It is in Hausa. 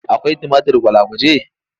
Akwai tumatir gwalagwaje?